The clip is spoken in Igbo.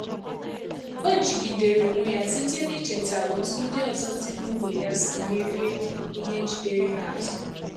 Ọ jigidere onwe ya site n’icheta otú ndị ọzọ si ná ógbè ya si merie ihe jidere ha azụ.